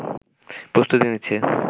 প্রস্তুতি নিচ্ছে